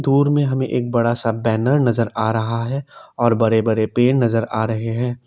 दूर में हमें एक बड़ा सा बैनर नजर आ रहा है और बड़े बड़े पेड़ नजर आ रहे हैं।